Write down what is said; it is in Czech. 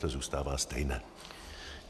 To zůstává stejné.